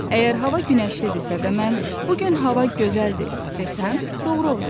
Əgər hava günəşlidirsə və mən bu gün hava gözəldir desəm, doğru olar.